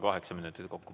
Kaheksa minutit kokku.